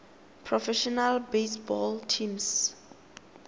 professional baseball teams